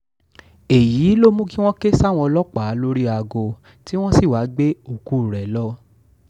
èyí ló mú kí wọ́n ké sáwọn ọlọ́pàá lórí aago tí wọ́n sì wáá gbé òkú rẹ lọ